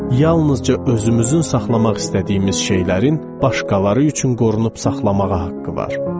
Yalnızca özümüzün saxlamaq istədiyimiz şeylərin başqaları üçün qorunub saxlamağa haqqı var.